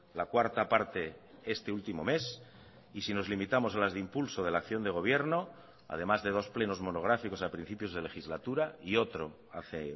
la cuarta parte este último mes y si nos limitamos a las de impulso de la acción de gobierno además de dos plenos monográficos a principios de legislatura y otro hace